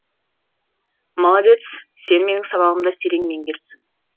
молодец сен менің сабағымды терең меңгеріпсің